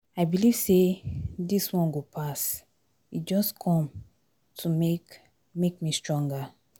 I believe say dis one go pass, e just come to make make me stronger.